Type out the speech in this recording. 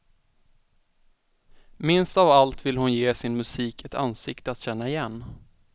Minst av allt vill hon ge sin musik ett ansikte att känna igen.